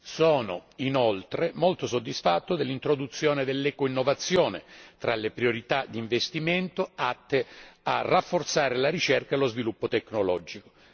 Sono inoltre molto soddisfatto dell'introduzione dell'ecoinnovazione fra le priorità d'investimento atte a rafforzare la ricerca e lo sviluppo tecnologico.